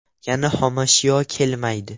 Yana xomashyo kelmaydi.